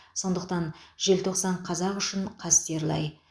сондықтан желтоқсан қазақ үшін қастерлі ай